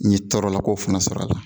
N ye tɔɔrɔla kow fana sɔrɔ a la